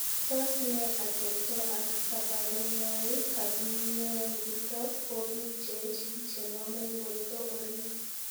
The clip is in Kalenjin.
Tos nee ateptoo ak kaparunoik ap mionitok poo piik cheechen chenomee portoo oriit